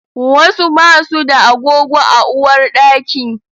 Wasu basu da agogo a uwarɗaki